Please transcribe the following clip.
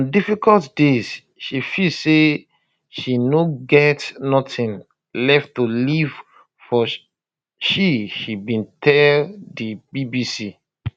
on difficult days she feel say she no get nothing left to live for she she bin tell di bbc